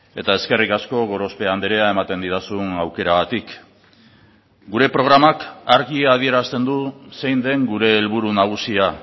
eta eskerrik asko gorospe andrea ematen didazun aukeragatik gure programak argi adierazten du zein den gure helburu nagusia